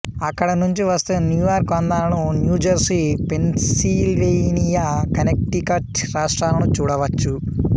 అక్కడ నుంచి వస్తే న్యూయార్క్ అందాలను న్యూజెర్సీ పెన్సిల్వేనియా కనెక్టికట్ రాష్ట్రాలను చూడవచ్చు